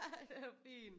Det er jo fint